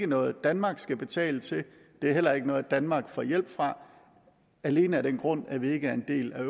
noget danmark skal betale til og det er heller ikke noget danmark får hjælp fra alene af den grund at vi ikke er en del af